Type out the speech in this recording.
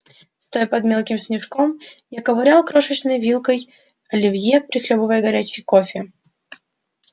стоя под мелким снежком я ковырял крошечной вилкой оливье прихлёбывал горячий кофе